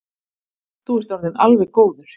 Þú ert orðinn alveg góður.